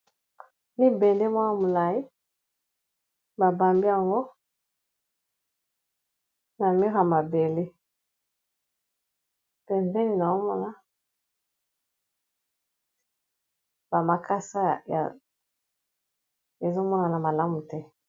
Limbende mwa ya molayi babambi yango na mur mabele pembeni na omona ba makasi ezomonana malamu te.